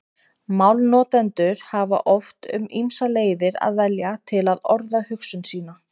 Málnotendur hafa oft um ýmsar leiðir að velja til að orða hugsun sína.